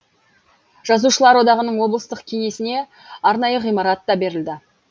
жазушылар одағының облыстық кеңесіне арнайы ғимарат та берілді